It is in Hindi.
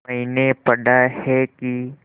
मैंने पढ़ा है कि